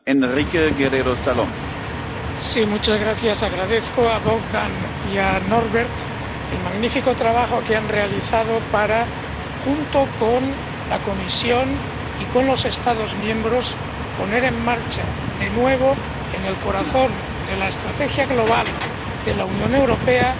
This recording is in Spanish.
Señor presidente, agradezco a Bogdan y a Norbert el magnífico trabajo que han realizado para, junto con la Comisión y con los Estados miembros, poner en marcha de nuevo, en el corazón de la estrategia global de la Unión Europea,